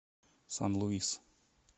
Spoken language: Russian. сан луис